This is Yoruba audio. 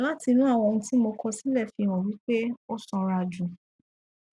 láti inú àwọn ohun tí mo kọ sílẹ fi hàn wí pé ó sanra jù